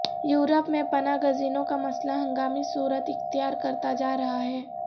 Europe میں پناہ گزینوں کا مسئلہ ہنگامی صورت اختیار کرتا جا رہا ہے